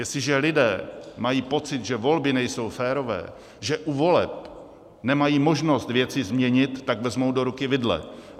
Jestliže lidé mají pocit, že volby nejsou férové, že u voleb nemají možnost věci změnit, tak vezmou do ruky vidle.